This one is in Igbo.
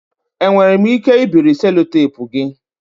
Enwere m ike ibiri sellotape gị?